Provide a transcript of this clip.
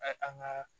an ka